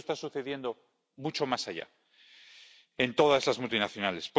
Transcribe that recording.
Esto está sucediendo mucho más allá, en todas estas multinacionales.